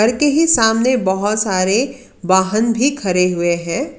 सामने बहोत सारे वाहन भी खरे हुए है।